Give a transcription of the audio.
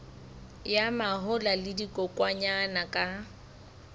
ya mahola le dikokwanyana ka